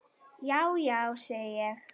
Já, já, segi ég.